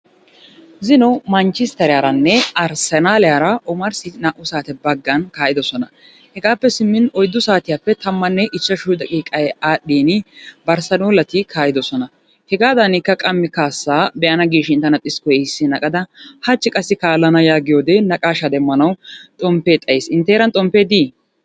Zino manchisteriyaranne arssenaliyara omarssi naa"u saate baggan kaa'idosona. Hegaappe simmin oyiddu saatiyappe tammanne ichchashu daqiiqay aadhdhin barssanoollati kaa'idosona. Hegaadaanikka qammi kaassa be'ana gidishin tana xiskkoy iissin aqada hachchi kaallana yaagiyode naqaashaa demmanawu xomppee xayis intte heeran xomppee dii?